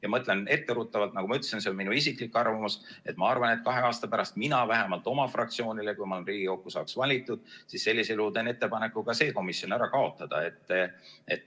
Ma ütlen etteruttavalt – nagu ma ütlesin, see on minu isiklik arvamus –, et ma arvan, et kahe aasta pärast mina vähemalt oma fraktsioonile, kui ma Riigikokku saan valitud, teen ettepaneku see komisjon ära kaotada.